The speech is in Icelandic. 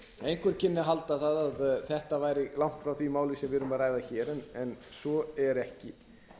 einhver kynni að halda að þetta væri langt frá því máli sem við erum að ræða hér en svo er ekki